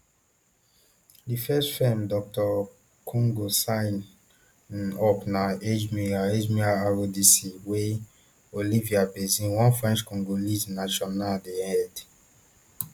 di first firm dr congo sign um up na agemira agemira rdc wey um olivier bazin one frenchcongolese national dey head